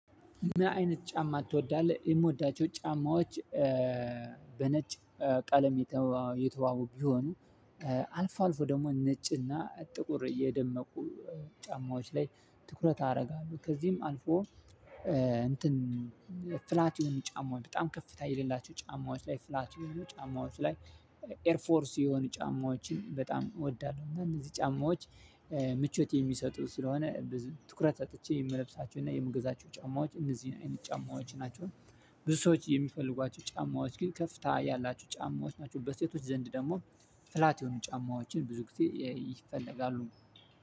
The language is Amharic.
ምን አይነት ጫማ ትወዳለህ? የምወዳቸው ጫማዎች በነጭ ቀለም የተዋቡ ቢሆኑ አልፎ አልፎ ደግሞ ነጭና ጥቁር የደመቁ ጫማዎች ላይ ትኩረት አደርጋለሁ ከዚህም አልፎ። እንትን ፍላቱን ጫማ በጣም ከፍታ የሌላቸው ጫማዎች ላይ ፍላት የሆኑ ጫማዎች ላይ ኤር ፎርስ የሆኑ ጫማዎችን በጣም እወዳለሁ። እነዚህ ጫማዎች ምቾት የሚሰጡ ስለሆነ ትኩረት ሰጥቼ የምለብሳቸውና የምገዛቸው ጫማዎች እንደዚህ ነው የኔ የጫማዎች ናቸው። ብዙ ሰዎች የሚፈልጓቸው ጫማዎች ግን ከፍታ ያላችሁ ጫማዎች ናቸው በሴቶች ዘንድ ደግሞ ፍላት የሆኑ ጫማዎችን ብዙ ጊዜ ይፈለጋሉ።